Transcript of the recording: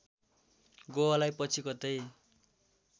गोवालाई पछि कतै